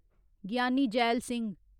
Gianni Zail Singh